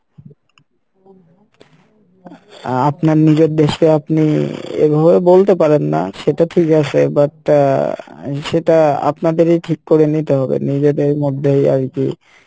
আহ আপনার নিজের দেশ কে আপনি এভাবে বলতে পারেন না সেটা ঠিক আসে but আহ সেটা আপনাদেরই ঠিক করে নিতে হবে নিজেদের মধ্যেই আরকি,